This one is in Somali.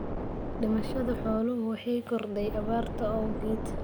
Dhimashada xooluhu waxay korodhay abaarta awgeed.